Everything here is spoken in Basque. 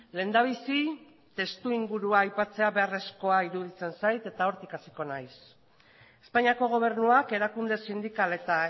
lehendabizi testuingurua aipatzea beharrezkoa iruditzen zait eta hortik hasiko naiz espainiako gobernuak erakunde sindikal eta